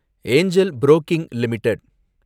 ஏங்கல் புரோக்கிங் லிமிடெட்